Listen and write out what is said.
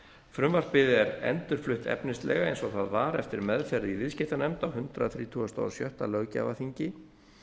frumvarpið er endurflutt efnislega eins og það var eftir meðferð í viðskiptanefnd á hundrað þrítugasta og sjötta löggjafarþingi